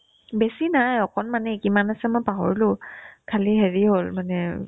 বেছি নাই অকনমানে কিমান আছে মই পাহৰিলো খালি হেৰি হ'ল মানে